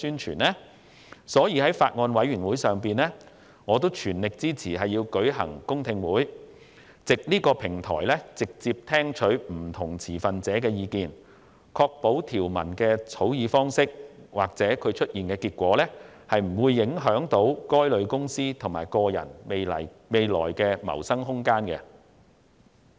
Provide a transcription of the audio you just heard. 有見及此，我在法案委員會上全力支持舉行公聽會，藉此直接聽取不同持份者的意見，以確保草擬的條文生效後，不會影響該等公司和人士未來的謀生空間。